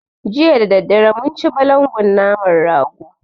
Jiya dadadare mun ci balangon naman rago